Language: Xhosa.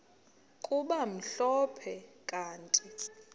kube mhlophe kanti